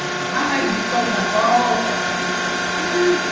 Ai, que coisa boa!